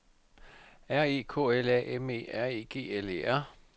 R E K L A M E R E G L E R